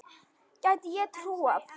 Gæti ég trúað.